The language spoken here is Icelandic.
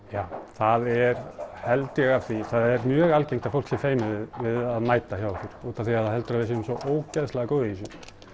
það er held ég af því að það er mjög algengt að fólk sé feimið við að mæta hjá okkur útaf því að það heldur að við séum svo ógeðslega góð í þessu